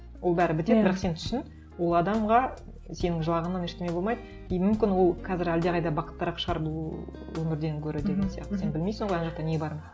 ол бәрі бітеді бірақ сен түсін ол адамға сенің жылағаныңнан ештеңе болмайды и мүмкін ол қазір әлдеқайда бақыттырақ шығар бұл өмірден гөрі деген сияқты сен білмейсің ғой ана жақта не барын